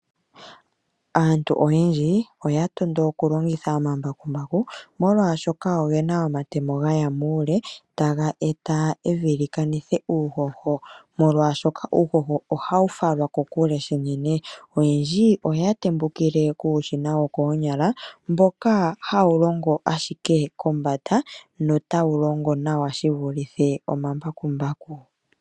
Aantu oyendji oya tondo okulongitha omambakumbaku molwaashoka ogena omatemo gaya muule taga e ta evi li kanithe uuhoho molwaashoka uuhoho ohawu falwa kokule shinene. Oyendji oya tembukile kuushina wokoonyala mboka hawu longo ashike kombanda notawu longo nawa shi vulithe omambakumbaku.